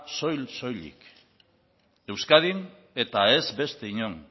soil soilik euskadin eta ez beste inon